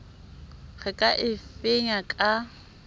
re ka a fenya ka